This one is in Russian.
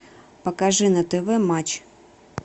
покажи на тв матч